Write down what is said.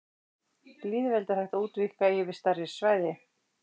Lýðveldi er hægt útvíkka yfir stærri svæði.